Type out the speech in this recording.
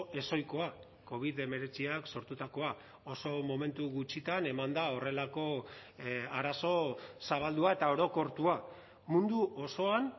ezohikoa covid hemeretziak sortutakoa oso momentu gutxitan eman da horrelako arazo zabaldua eta orokortua mundu osoan